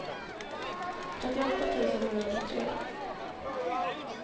trettioåtta tusen niohundratre